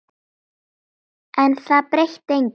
En það breytti engu.